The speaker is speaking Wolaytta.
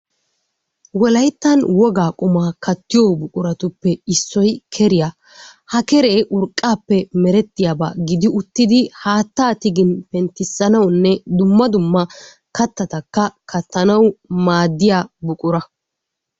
Wolaytta wogaa qummaa kattiyo buquratuppe issoy keriya, ha keree urqqaappe meretiyaba gidi uttidi haattaa tigin penttissanawunne kattattakka kattanawu maaddiya buqura,